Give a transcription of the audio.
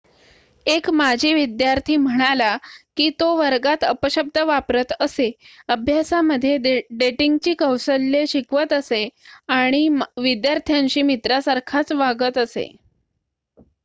एक माजी विद्यार्थी म्हणाला की 'तो वर्गात अपशब्द वापरत असे अभ्यासामध्ये डेटिंगची कौशल्ये शिकवत असे आणि विद्यार्थ्यांशी मित्रासारखाच वागत असे.'